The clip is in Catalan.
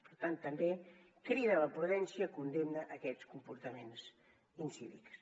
per tant també crida a la prudència condemna a aquests comportaments incívics